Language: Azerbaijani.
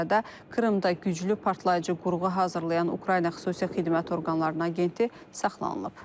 Bu arada Krımda güclü partlayıcı qurğu hazırlayan Ukrayna xüsusi xidmət orqanlarının agenti saxlanılıb.